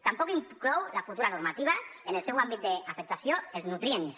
tampoc inclou la futura normativa en el seu àmbit d’afectació els nutrients